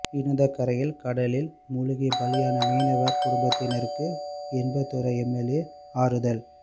இடிந்தகரையில் கடலில் மூழ்கி பலியான மீனவர் குடும்பத்திற்கு இன்பதுரை எம்எல்ஏ ஆறுதல்